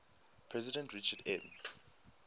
president richard m